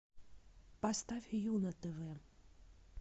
поставь ю на тв